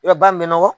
Yɔrɔ ba min bɛ nɔgɔ